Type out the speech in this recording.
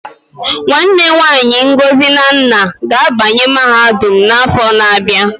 Nwanne nwanyi Ngozi na nna ga-abanye mahadum n'afọ na-abịa.